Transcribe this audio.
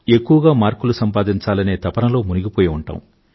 ఎక్కువగా మార్కులు సంపాదించాలనే తపనలో మునిగిపోయి ఉంటాం